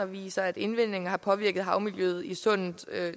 viser at indvindingen har påvirket havmiljøet i sundet